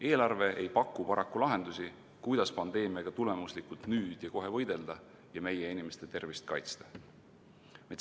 Eelarve ei paku paraku lahendusi, kuidas pandeemiaga tulemuslikult nüüd ja kohe võidelda ja meie inimeste tervist kaitsta.